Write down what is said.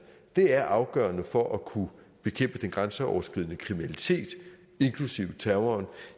er afgørende for at kunne bekæmpe den grænseoverskridende kriminalitet inklusive terroren